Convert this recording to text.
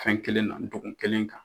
Fɛn kelen na do kun kelen kan.